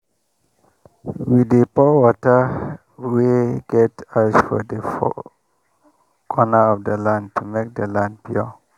we dey pour water wey get ash for the four corner of the land to make the land pure.